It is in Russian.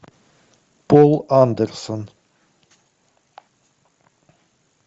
пол андерсон